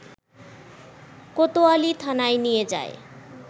কোতোয়ালি থানায় নিয়ে যায়